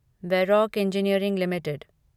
Varroc engineering limited